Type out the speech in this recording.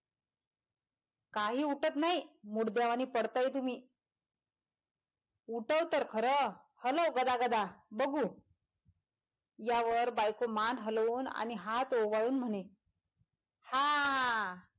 काही उठत नाही मुडद्या वाणी पडताय तुमि उठव तर खर हलव गदागदा बगु यावर बायको मान हलवून आणि हात ओवाळुन म्हणे हां.